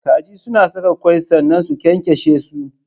Kaji Suna sakin kwai sannna su kyankyashe su.